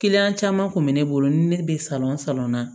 caman kun bɛ ne bolo ni ne bɛ salɔn na